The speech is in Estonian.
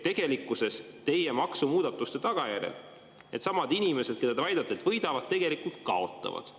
Teie maksumuudatuste tagajärjel needsamad inimesed, kelle kohta te väidate, et nad võidavad, tegelikult kaotavad.